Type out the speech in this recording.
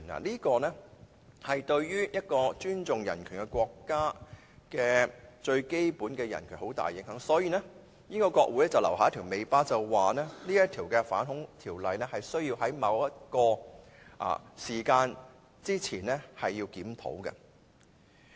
這些都會對一個尊重人權的國家的最基本人權造成很大的影響，所以英國國會便留下尾巴，訂明這條反恐條例必須在某個時間之前作檢討。